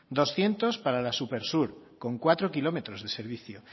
doscientos para la supersur con cuatro kilómetros de servicio